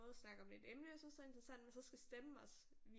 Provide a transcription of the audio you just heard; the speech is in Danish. Både snakke om et emne jeg synes er interessant men så skal stemmen også